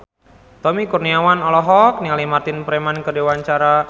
Tommy Kurniawan olohok ningali Martin Freeman keur diwawancara